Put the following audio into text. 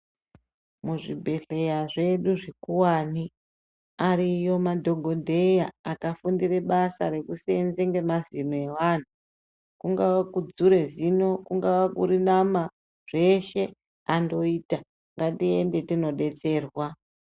Mu zvibhedhleya zvedu zvikuwani ariyo madhokodheya akafundire basa reku senza ne mazino evanhu kungava kudzure zino kungava kuri nama zveshe andoita ngatiende tino detserwa.